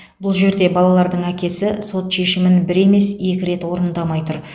бұл жерде балалардың әкесі сот шешімін бір емес екі рет орындамай тұр